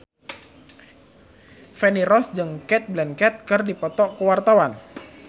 Feni Rose jeung Cate Blanchett keur dipoto ku wartawan